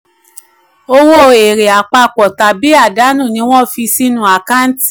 owó èrè àpapọ̀ tàbí àdánù ni wọ́n fi sínú àkáǹtì.